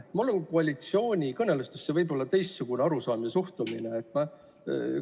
Mul on koalitsioonikõnelustest võib-olla teistsugune arusaam ja teistsugune suhtumine neisse.